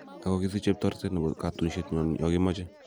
Okokisicheb toretet nebo kotunishet nyon yonkimoche,"